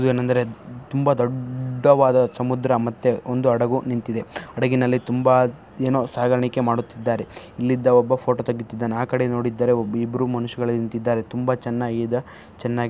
ಇದು ಏನೆಂದರೆ ತುಂಬ ದೊಡ್ಡವಾದ ಸಮುದ್ರ ಮತ್ತೆ ಒಂದು ಹಡಗು ನಿಂತಿದೆ. ಹಡಗಿನಲ್ಲಿ ತುಂಬಾ ಏನೊ ಸಾಗಣಿಕೆ ಮಾಡುತ್ತಿದ್ದಾರೆ. ಇಲ್ಲಿದ್ದ ಒಬ್ಬ ಫೋಟೋ ತೆಗಿತಿದ್ದಾನೆ ಆ ಕಡೆ ನೋಡಿದ್ದರೆ ಇಬ್ಬರು ಮನುಷ್ಯರುಗಳೇ ನಿಂತಿದ್ದಾರೆ. ತುಂಬಾ ಚನ್ನಾಗಿ ಇದ. ಚನ್ನಾಗಿ--